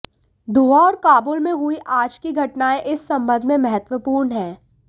दोहा और काबुल में हुई आज की घटनायें इस संबंध में महत्वपूर्ण हैं